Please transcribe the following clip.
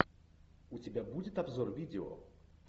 у тебя будет обзор видео